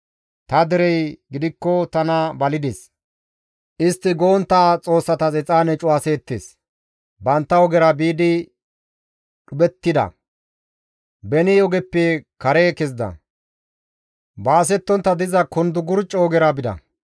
Ta derey gidikko tana balides; istti go7ontta xoossatas exaane cuwaseettes; bantta ogera biidi dhuphettida; beni ogeppe kare kezida; baasettontta diza kundukurcco ogera bida.